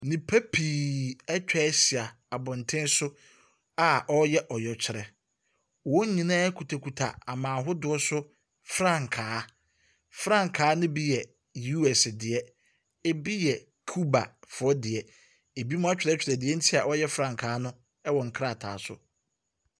Nnipa pii atwa ahyia abɔten so a ɔreyɛ ɔyɛkyerɛ. Wɔn nyinaa kutakuta aman hodoɔ so frankaa. Frankaa no bi yɛ US deɛ, ebi yɛ Cubafooɔ deɛ, ebinom atwerɛtwerɛ deɛ nti a wɔyɛ frankaa no ɛwɔ nkrataa so.